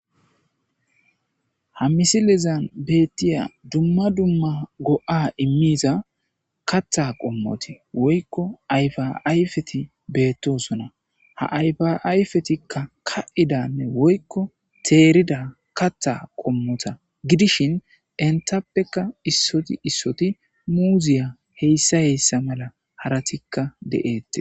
Ha misilezan beettiya dumma dumma go7a immiiza katha qommoti woykko ayfaayfeti beettosona ha ayfaayfetikka ka7idanne woykko teerida kattha qommota gidishin entappekka issoti issoti muuziya heyssa heyssa mala haratikka deeette.